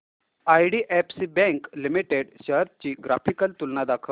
IDFC bank limited shares ची graphical तुलना दाखव